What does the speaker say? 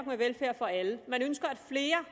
med velfærd for alle man ønsker at flere